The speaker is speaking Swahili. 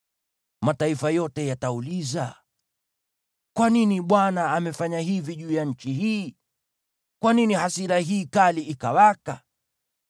Mataifa yote yatauliza: “Kwa nini Bwana amefanya hivi juu ya nchi hii? Kwa nini hasira hii kali ikawaka?”